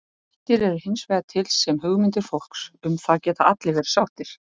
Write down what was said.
Vættir eru hins vegar til sem hugmyndir fólks, um það geta allir verið sáttir.